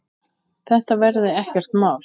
Þetta verði ekkert mál.